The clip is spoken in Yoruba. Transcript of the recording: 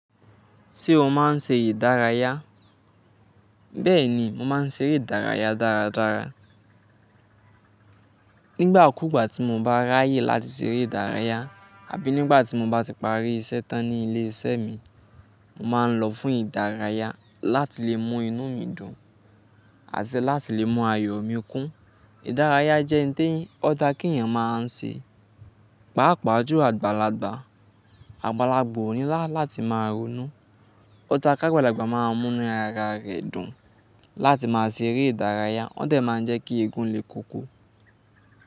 Ṣé o máa ń ṣe ìdárayá? Bẹ́ẹ̀ni, mo máa ń ṣe eré ìdárayá dáradára. Nígbà kùgbà tí mo bá ráyè láti ṣeré ìdárayá àbí nígbà tí mo bá ti parí iṣẹ́ tán ní ilé iṣẹ́ mi, mo máa ń lọ fún ìdárayá láti lè mọ inú mi dùn, àti láti lè mu ayọ̀mikún. Ìdárayá jẹ́ oun tí ọ̀da kí èyàn máa ń ṣe. Páapàá jú àgbàlagbà, àgbàlagbà òni láti máa ronú. Ọ̀da kágbàlagbà máa ń mú inú ara rẹ̀ dùn. Láti máa ṣeré ìdárayá, wón dẹ̀ máa ń jẹ́ kí egun lè koko.